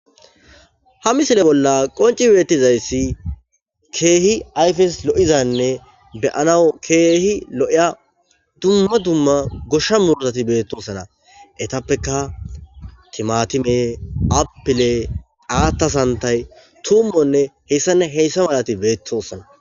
Ha missile bolla qoncci bettizayissi kehi ayiffes lo'izanne be'anaw kehi lo'ya duma duma goshsha muruttati bettosona etappeka timatimme appille atta santtayi tuummonne hessane hessa mallati bettosona.